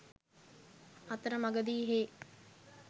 අතර මඟදී හේ